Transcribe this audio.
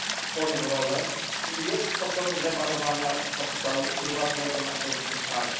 swoją rolę i jest sposobem lewarowania kapitału prywatnego na szerszą skalę.